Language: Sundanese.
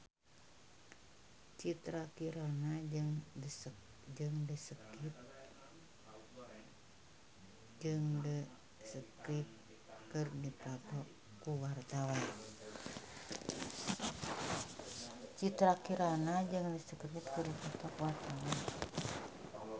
Citra Kirana jeung The Script keur dipoto ku wartawan